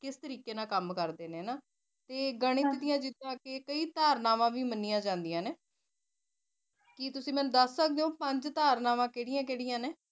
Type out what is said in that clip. ਕਿਸ ਤਾਰੀਕੀ ਨਾਲ ਕੰਮ ਕਰਦੇ ਨਾ ਹਨਾ ਜਿਦਾ ਕਿ ਕਈ ਧਾਰਨਾਵਾਂ ਵੀ ਮੰਨੀਆਂ ਜਾਂਦੀਆਂ ਨੇ ਕੀ ਤੂਸੀ ਮੈਨੂੰ ਦਸ ਸਕਦੇ ਹੋ ਪੰਜ ਧਾਰਨਾਵਾਂ ਕਿਹੜੀਆਂ ਕਿਹੜੀਆਂ ਨੇ